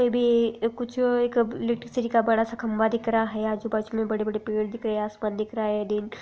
फिर भी एक कुछ एक इलेक्ट्रिसिटी का बड़ा सा खंबा दिख रहा है । आजू बाजू मे बड़े बड़े पेड़ दिख रहे है । आसमान दिख रहा है डैम ।